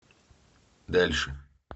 дальше